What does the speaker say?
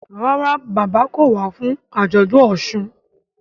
Ràrá bàbá kọ wá fún ajọdun òsùn.